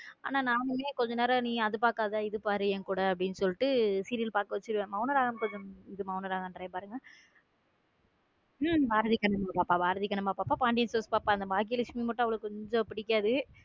ஆனா நான் கொஞ்ச நேரம் நீ அத பாக்காத இத பாரு என்கூட அப்படின்னு சொல்லிட்டு serial பார்க்க வைத்துவிடுவேன் மௌன ராகம் மௌன ராகம் என்ற பாருங் பாரதி கண்ணம்மா அப்ப பாண்டியன் ஸ்டோர்ஸ் பாப்பா பாக்கி லட்சுமி மட்டும் அவளுக்கு கொஞ்சம் பிடிக்காது.